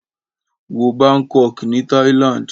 Wo Bangkok ní Thailand.